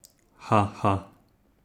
Ha, ha!